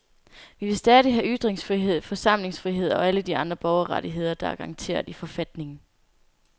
Vi vil stadig have ytringsfrihed, forsamlingsfrihed og alle de andre borgerrettigheder, der er garanteret i forfatningen.